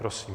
Prosím.